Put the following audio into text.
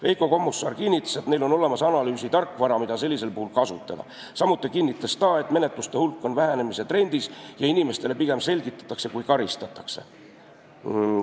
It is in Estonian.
Veiko Kommusaar kinnitas, et neil on olemas analüüsi tarkvara, mida sellisel puhul kasutada, samuti kinnitas ta, et menetluste hulk on vähenemise trendis ja pigem inimestele selgitatakse asju, selle asemel et neid karistada.